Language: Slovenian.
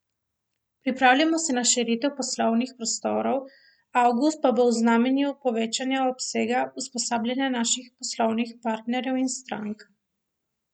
Pripravljamo se na širitev poslovnih prostorov, avgust pa bo v znamenju povečanja obsega usposabljanja naših poslovnih partnerjev in strank.